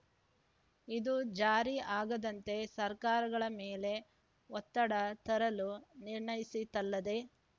ಇದು ಜಾರಿ ಆಗದಂತೆ ಸರ್ಕಾರಗಳ ಮೇಲೆ ಒತ್ತಡ ತರಲು ನಿರ್ಣಯಿಸಿತಲ್ಲದೆ